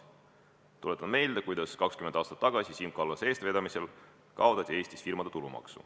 Tuletame meelde, kuidas 20 aastat tagasi Siim Kallase eestvedamisel kaotati Eestis firmade tulumaks.